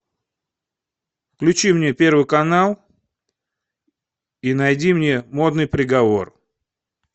включи мне первый канал и найди мне модный приговор